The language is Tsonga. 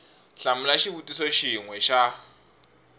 hlamula xivutiso xin we xa